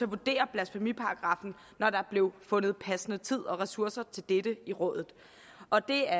vurdere blasfemiparagraffen når der blev fundet passende tid og ressourcer til dette i rådet og det er